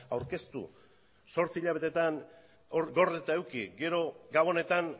aurkeztu zortzi hilabetetan gordeta eduki gero gabonetan